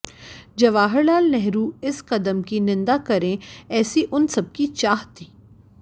जवाहरलाल नेहरू इस कदम की निंदा करें ऐसी उन सबकी चाह थी